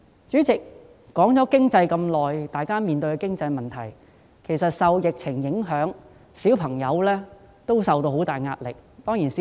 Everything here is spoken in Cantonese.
主席，我花了很長時間討論大家所面對的經濟問題，但其實受疫情影響，兒童也承受着巨大壓力。